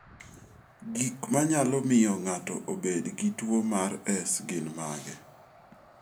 Gik manyalo miyo ng'ato obed gi tuwo mar S